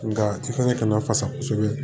Nka i fana kana fasa kosɛbɛ